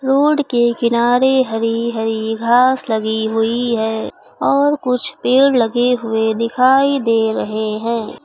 Road के किनारे हरी हरी घास लगी हुई है और कुछ पेड़ लगे हुए दिखाई दे रहे हैं।